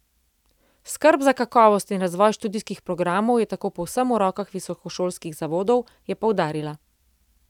Skrb za kakovost in razvoj študijskih programov je tako povsem v rokah visokošolskih zavodov, je poudarila.